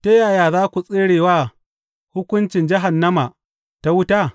Ta yaya za ku tsere wa hukuncin jahannama ta wuta?